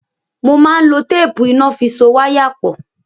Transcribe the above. Mo máa n lo téèpù iná fi so wáyà pọ̀.